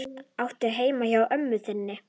Áttu heima hjá ömmu þinni?